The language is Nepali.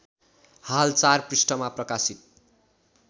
हाल ४ पृष्ठमा प्रकाशित